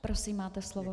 Prosím, máte slovo.